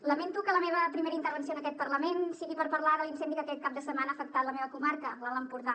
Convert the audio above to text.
lamento que la meva primera intervenció en aquest parlament sigui per parlar de l’incendi que aquest cap de setmana ha afectat la meva comarca l’alt empordà